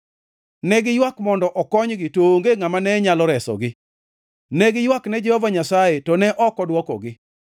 Ne giywak mondo okonygi to onge ngʼama ne nyalo resogi; ne giywakne Jehova Nyasaye to ne ok odwokogi.